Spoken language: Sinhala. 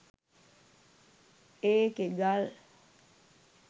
ඒකෙ ගල්